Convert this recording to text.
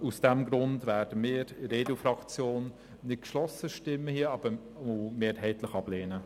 Daher wird die EDU-Fraktion nicht geschlossen abstimmen und mehrheitlich ablehnen.